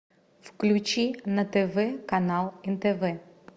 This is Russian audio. включи на тв канал нтв